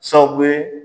Sababu ye